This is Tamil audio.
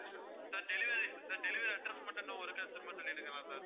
sir delivery sir delivery address மட்டும் இன்னும் ஒருக்கா திரும்ப சொல்லிடுங்களேன் sir